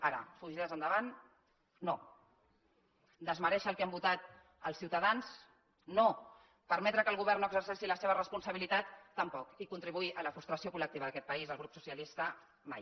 ara fugides endavant no desmerèixer el que han votat els ciutadans no permetre que el govern no exerceixi la seva responsabilitat tampoc i contribuir a la frustració col·lectiva d’aquest país el grup socialista mai